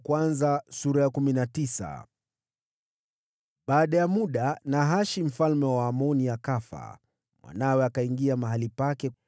Baada ya muda, Nahashi mfalme wa Waamoni akafa, mwanawe akaingia mahali pake.